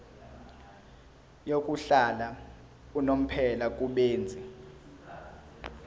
yokuhlala unomphela kubenzi